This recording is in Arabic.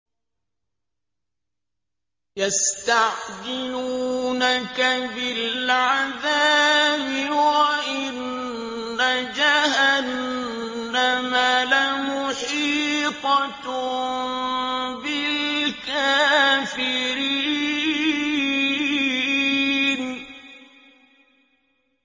يَسْتَعْجِلُونَكَ بِالْعَذَابِ وَإِنَّ جَهَنَّمَ لَمُحِيطَةٌ بِالْكَافِرِينَ